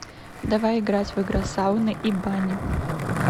давай играть в игра сауны и бани